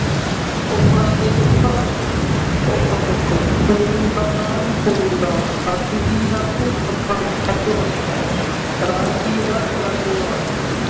ਔਖਾ ਅਤੇ ਸੌਖਾ ਔਖਾ ਸੌਖਾ, ਖੂਨ ਦਾ ਦਾਨ ਖ਼ੂਨਦਾਨ, ਹੱਥ ਹੀ ਹੱਥ ਹੱਥਾਂ ਹੱਥੋ ਹੱਥ, ਰਾਤ ਹੀ ਰਾਤ, ਰਾਤੋ ਰਾਤ